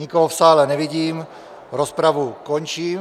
Nikoho v sále nevidím, rozpravu končím.